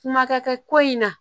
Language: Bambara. Kuma ka kɛ ko in na